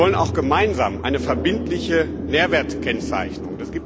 Wir wollen auch gemeinsam eine verbindliche Nährwertkennzeichnung.